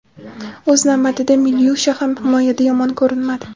O‘z navbatida Milyusha ham himoyada yomon ko‘rinmadi.